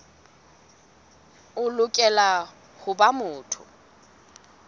o lokela ho ba motho